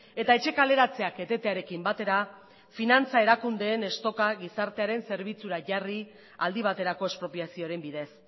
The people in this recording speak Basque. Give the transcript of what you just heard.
eta etxe kaleratzeak etetearekin batera finantza erakundeen stocka gizartearen zerbitzura jarri aldi baterako espropiazioaren bidez